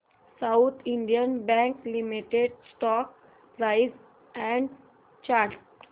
south Indian Bank Limited stock price and chart